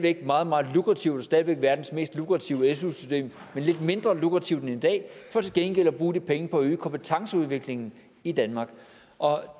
et meget meget lukrativt og stadig væk verdens mest lukrative su system men lidt mindre lukrativt end i dag for til gengæld at bruge de penge på at øge kompetenceudviklingen i danmark og